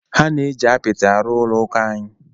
Ha na-eji apịtị arụ ụlọ ụka anyị.